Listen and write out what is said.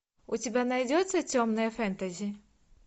у тебя найдется темное фэнтези